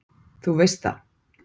Þú veist það!